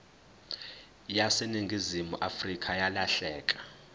yaseningizimu afrika yalahleka